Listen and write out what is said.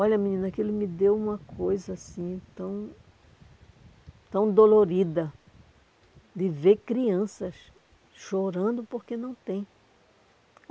Olha, menina, aquilo me deu uma coisa, assim, tão... tão dolorida de ver crianças chorando porque não tem.